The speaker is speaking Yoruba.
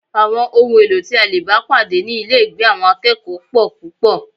Àwọn ohun èlò tí a lè bá pàdé ní ilégbèé àwọn akẹ́kọ̀ọ́ pọl púpọl